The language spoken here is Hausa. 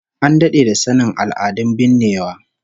An dade da sanin al'adun binnewa